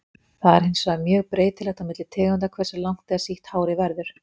Það er hins vegar mjög breytilegt á milli tegunda hversu langt eða sítt hárið verður.